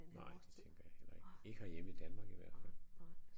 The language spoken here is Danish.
Nej det tænker jeg heller ikke ikke herhjemme i Danmark i hvert fald